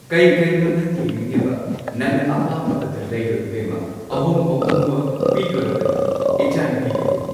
ꯀꯩ ꯀꯩꯅꯣ ꯅꯪꯅ ꯌꯦꯡꯅꯤꯡꯉꯤꯕ ꯅꯪꯅ ꯑꯄꯥꯝꯕ ꯑꯗꯨ ꯂꯩꯔꯣ ꯏꯕꯦꯝꯃ ꯑꯍꯣꯡ ꯑꯍꯣꯡꯕ ꯄꯤꯗꯣꯔꯕꯅꯤ ꯏꯆꯥ ꯅꯨꯄꯤꯒꯤꯕꯨ꯫